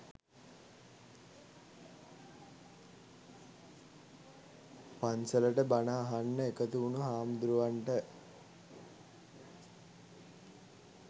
පන්සලට බණ අහන්න එකතු වුණු හාමුදුරුවන්ට